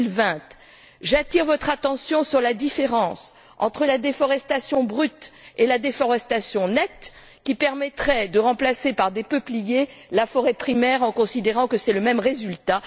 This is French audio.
2020. J'attire votre attention sur la différence entre la déforestation brute et la déforestation nette, qui permettrait de remplacer par des peupliers la forêt primaire, en considérant que c'est le même résultat.